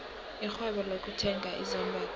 irhwebo lokuthenga izambatho